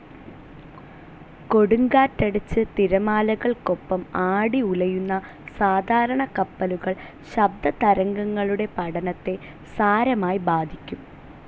കൊടുങ്കാറ്റടിച്ച് തിരമാലകൾക്കൊപ്പം ആടി ഉലയുന്ന സാധാരണ കപ്പലുകൾ ശബ്ദതരംഗങ്ങളുടെ പഠനത്തെ സാരമായി ബാധിക്കും.